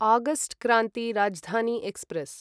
August Kranti Rajdhani express